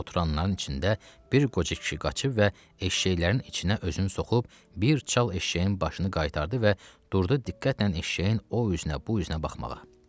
Oturanların içində bir qoca kişi qaçıb və eşşəklərin içinə özün soxub, bir çal eşşəyin başını qaytardı və durdu diqqətlə eşşəyin o üzünə, bu üzünə baxmağa.